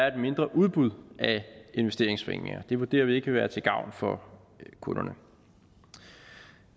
et mindre udbud af investeringsforeninger det vurderer vi ikke vil være til gavn for kunderne